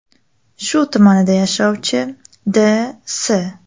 Shu tumanida yashovchi D.S.